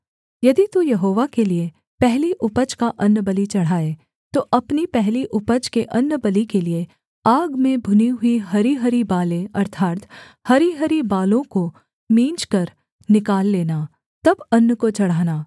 यदि तू यहोवा के लिये पहली उपज का अन्नबलि चढ़ाए तो अपनी पहली उपज के अन्नबलि के लिये आग में भुनी हुई हरीहरी बालें अर्थात् हरीहरी बालों को मींजकर निकाल लेना तब अन्न को चढ़ाना